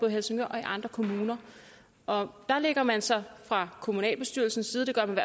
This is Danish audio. i helsingør og i andre kommuner og der lægger man sig fra kommunalbestyrelsens side det gør man